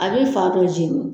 A bɛ fan dɔ jɛni.